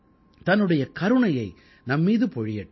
தன்னுடைய கருணையை நம்மீது பொழியட்டும்